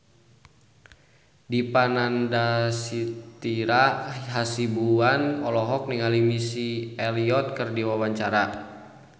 Dipa Nandastyra Hasibuan olohok ningali Missy Elliott keur diwawancara